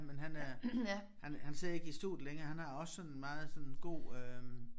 Men han er han han sidder ikke i studiet længere han har også sådan meget sådan god øh